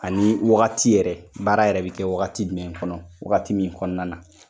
Ani wagati yɛrɛ, baara yɛrɛ bɛ kɛ wagati jumɛn kɔnɔ , wagati min kɔnɔna na.